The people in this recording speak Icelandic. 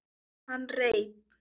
Hann reit